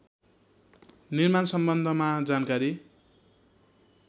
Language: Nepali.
निर्माण सम्बन्धमा जानकारी